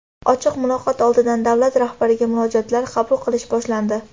Ochiq muloqot oldidan davlat rahbariga murojaatlar qabul qilish boshlandi.